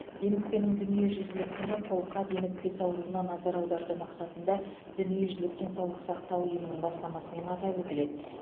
демікпенің дүниежүзілік күні қолқа демікпесі ауруына назар аударту мақсатында дүниежүзілік денсаулық сақтау ұйымының бастамасымен атап өтіледі